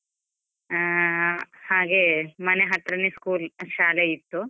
ಹಾ ಹಾಗೆ, ಮನೆ ಹತ್ರನೇ school ಇತ್ತು ಶಾಲೆ ಇತ್ತು.